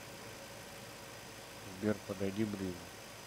сбер подойди ближе